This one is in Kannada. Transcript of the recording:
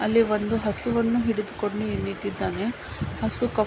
ಅಲ್ಲಿ ಒಂದು ಹಸುವನ್ನು ಹಿಡಿದುಕೊಂಡು ನಿಂತಿದ್ದಾನೆ ಹಸು --